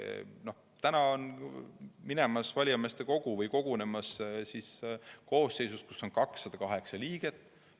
on valijameeste kogu kogunemas koosseisus, kus on 208 liiget.